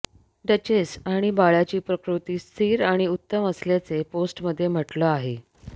duchess आणि बाळाची प्रकृती स्थीर आणि उत्तम असल्याचे पोस्टमध्ये म्हटलं आहे